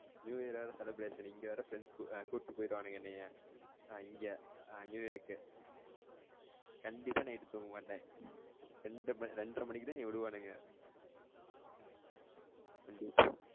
New year வேற celebration இங்க வேற friends கூட்டிட்டு போயிருவானுங்க என்னைய நான் இங்க new year க்கு கண்டிப்பா night தூங்க மாட்டேன் ரெண்டு மணி ரென்ற மணிக்குத்தான் என்னைய விடுவானுங்க